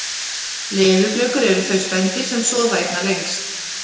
leðurblökur eru þau spendýr sem sofa einna lengst